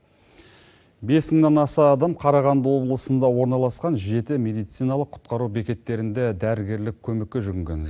бес мыңнан аса адам қарағанды облысында орналасқан жеті медициналық құтқару бекеттерінде дәрігерлік көмекке жүгінген